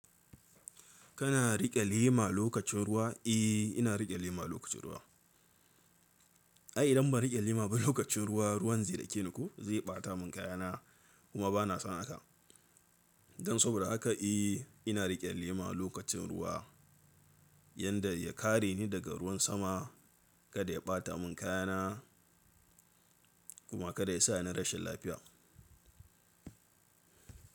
Kana riƙe lema lokacin ruwa? Eh, ina riƙe lema lokacin ruwa. Ai idan ba riƙe lema ba lokacin ruwa, ruwan zai dake ni ko, zai ɓata mun kayana kuma banson haka don saboda haka eh ina riƙe lema lokacin ruwa yadda ya kare ni daga ruwan sama kada ya ɓata mun kayana kuma kada yasa na rashin lafiya.